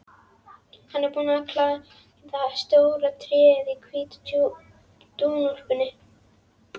Hann er búinn að klæða stóra tréð í hvíta dúnúlpu.